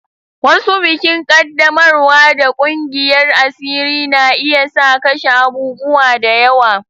Wasu bikin qaddamarwa da ƙungiyar asiri na iya sa kashe abubuwa da yawa.